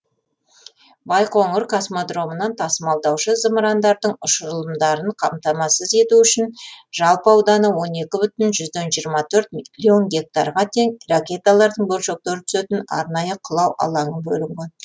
байқоңыр космодромынан тасымалдаушы зымырандардың ұшырылымдарын қамтамасыз ету үшін жалпы ауданы миллион гектарға тең ракеталардың бөлшектері түсетін арнайы құлау алаңы бөлінген